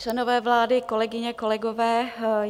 Členové vlády, kolegyně, kolegové.